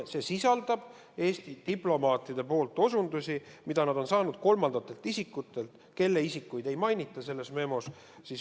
See sisaldab Eesti diplomaatide osutusi selle kohta, mida nad on saanud kolmandatelt isikutelt, kelle nimesid ei mainita selles memos.